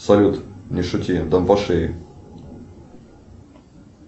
салют не шути дам по шее